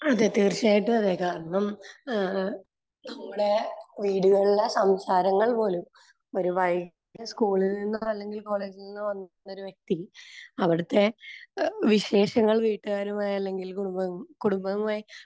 അതെ. തീർച്ചയായിട്ടും അതെ. കാരണം ഏഹ് നമ്മുടെ വീടുകളിലെ സംസാരങ്ങൾ പോലും...ഒരു വൈകിട്ട് സ്കൂളിൽ നിന്നോ അല്ലെങ്കിൽ കോളജിൽ നിന്നോ വരുന്നൊരു വ്യക്തി അവിടുത്തെ വിശേഷങ്ങൾ വീട്ടുകാരുമായി അല്ലെങ്കിൽ കുടുംബവുമായി